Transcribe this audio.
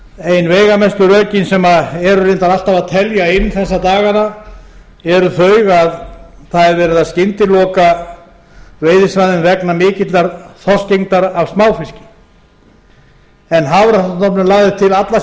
ein veigamestu rökin sem eru reyndar alltaf að telja inn þessa dagana eru þau að það er verið að skyndilokun veiðisvæðum vegna mikillar þorskgengd af smáfiski en hafrannsóknastofnun lagði til alla